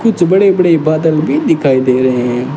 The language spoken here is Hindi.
कुछ बड़े बड़े बादल भी दिखाई दे रहे हैं।